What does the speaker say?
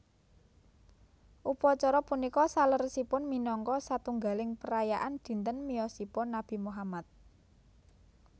Upacara punika saleresipun minangka satunggaling perayaan dinten miyosipun Nabi Muhammad